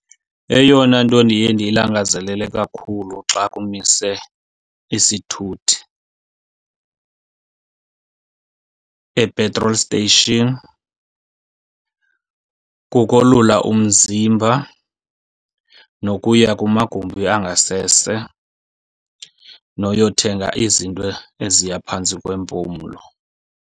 Eyona nto ndiye ndiyilangazelele kakhulu xa kumise isithuthi e-petrol station kukoluka umzimba, nokuya kumagumbi angasese, noyothenga izinto eziya phantsi kwempumlo.